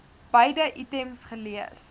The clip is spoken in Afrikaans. beide items gelees